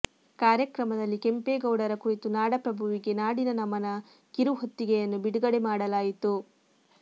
ಕಾರ್ಯಕ್ರಮದಲ್ಲಿ ಕೆಂಪೇಗೌಡರ ಕುರಿತು ನಾಡ ಪ್ರಭುವಿಗೆ ನಾಡಿನ ನಮನ ಕಿರು ಹೊತ್ತಿಗೆಯನ್ನು ಬಿಡುಗಡೆ ಮಾಡಲಾಯಿತು